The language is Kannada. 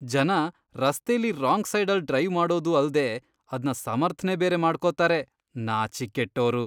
ಜನ ರಸ್ತೆಲಿ ರಾಂಗ್ ಸೈಡಲ್ಲ್ ಡ್ರೈವ್ ಮಾಡೋದೂ ಅಲ್ದೇ ಅದ್ನ ಸಮರ್ಥ್ನೆ ಬೇರೆ ಮಾಡ್ಕೊತಾರೆ, ನಾಚಿಕ್ಗೆಟ್ಟೋರು!